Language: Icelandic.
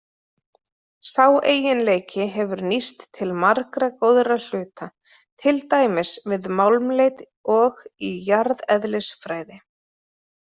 Sá eiginleiki hefur nýst til margra góðra hluta, til dæmis við málmleit og í jarðeðlisfræði.